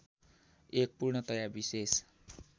एक पूर्णतया विशेष